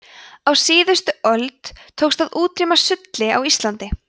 á síðustu öld tókst að útrýma sulli á íslandi